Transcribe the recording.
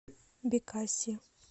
бекаси